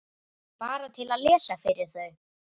Bara til að lesa fyrir þau.